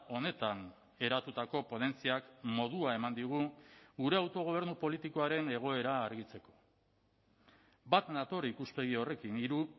honetan eratutako ponentziak modua eman digu gure autogobernu politikoaren egoera argitzeko bat nator ikuspegi horrekin hiru